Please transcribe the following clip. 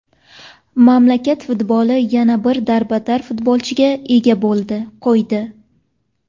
Mamlakat futboli yana bir darbadar futbolchiga ega bo‘ldi, qo‘ydi.